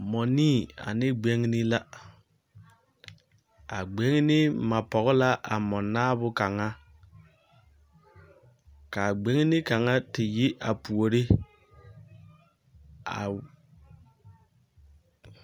Mͻnii ane gbeŋini la. Ka a gbeŋini ma pͻge la a mͻnaabo kaŋa. Ka a gbeŋini kaŋa te yi a puori a.